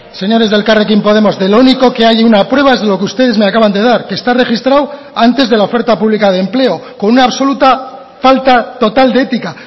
señores de elkarrekin podemos de lo único que hay una prueba es de lo que ustedes me acaban de dar que está registrado antes de la oferta pública de empleo con una absoluta falta total de ética